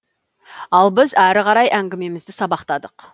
ал біз ары қарай әңгімемізді сабақтадық